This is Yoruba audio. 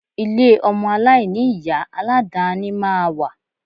Ilé ọmọ aláìní-Ìyá alàdàáni máa wà